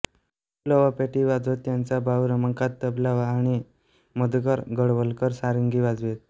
पु ल पेटी वाजवत त्यांचा भाऊ रमाकांत तबला आणि मधुकर गोळवलकर सारंगी वाजवीत